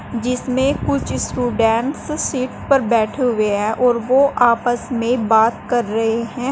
जिसमें कुछ student seat पर बैठे हुए हैं और ओ आपस में बात कर रहे हैं।